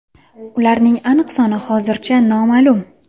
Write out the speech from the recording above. Ularning aniq soni hozircha noma’lum.